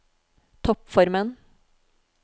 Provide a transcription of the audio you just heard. toppformen